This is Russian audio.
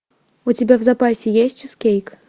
у тебя в запасе есть чизкейк